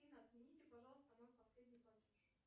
афина отмените пожалуйста мой последний платеж